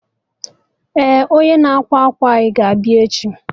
Eh, onye na-ákwà akwa anyị ga abịa echi